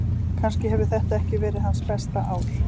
Kannski hefur þetta ekki verið hans besta ár.